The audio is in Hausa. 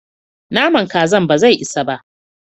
Naman Kazan bazai isa ba.